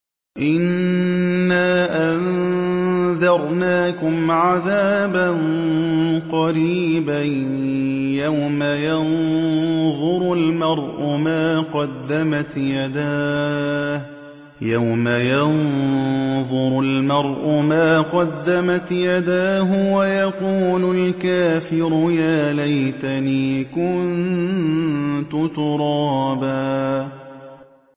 إِنَّا أَنذَرْنَاكُمْ عَذَابًا قَرِيبًا يَوْمَ يَنظُرُ الْمَرْءُ مَا قَدَّمَتْ يَدَاهُ وَيَقُولُ الْكَافِرُ يَا لَيْتَنِي كُنتُ تُرَابًا